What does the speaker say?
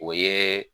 O ye